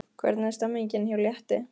Hvernig er stemningin hjá Létti?